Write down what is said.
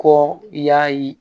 Kɔ i y'a ye